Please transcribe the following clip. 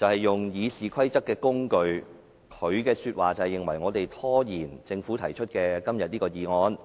利用《議事規則》作為工具，以圖拖延政府今天提出的議案。